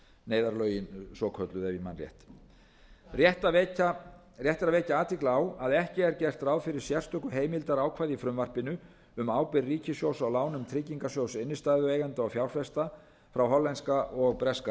neyðarlögin svokölluðu ef ég man rétt rétt er að vekja athygli á að ekki er gert ráð fyrir sérstöku heimildarákvæði í frumvarpinu um ábyrgð ríkissjóðs á lánum trygginga sjóðs innstæðueigenda og fjárfesta frá breska og hollenska